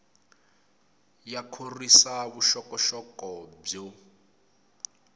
ya khorwisa vuxokoxoko byo